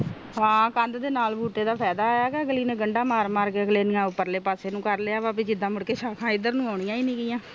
ਹਾਂ ਕਾਂਡ ਨਾਲ ਬੂਟੀ ਦਾ ਫਾਇਦਾ ਆ ਕੇ ਅਗਲੀ ਨੇ ਗੰਦਾ ਮਾਰ ਮਾਰ ਕੇ ਆਪਣੇ ਪਾਰਲੇ ਪਾਸੇ ਨੂੰ ਕਰ ਲਿਆ ਜਿੰਦਾ ਮੁੜਕੇ ਇੰਦਰ ਨੂੰ ਆਉਣੀਆਂ ਨੀ ਆ